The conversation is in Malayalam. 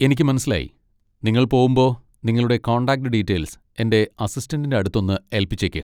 എനിക്ക് മനസ്സിലായി. നിങ്ങൾ പോവുമ്പോ നിങ്ങളുടെ കോൺടാക്ട് ഡീറ്റെയിൽസ് എൻ്റെ അസിസ്റ്റന്റിൻ്റെ അടുത്തൊന്ന് ഏല്പിച്ചേക്ക്.